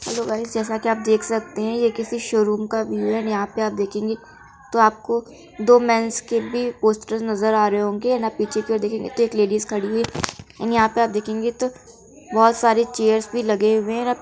Hello guys जैसा कि आप देख सकते हैं ये किसी शोरूम का व्यू है एंड यहाँ पे आप देखेंगे तो आपको दो मेंस के भी पोस्टर नजर आ रहे होंगे एंड आप पीछे कि ओर देखेंगे की लेडीज खड़ी है एंड यहाँ पे आप देखेंगे तो बहोत सारे चेयर्स भी लगे हुए हैं।